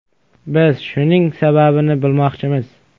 Biz shuning sababini bilmoqchimiz.